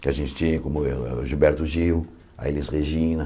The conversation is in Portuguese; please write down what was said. que a gente tinha, como o o o Gilberto Gil, a Elis Regina.